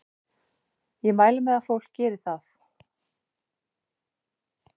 Ég mæli með að fólk geri það.